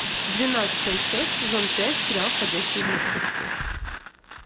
двенадцатая часть сезон пять сериал ходячие мертвецы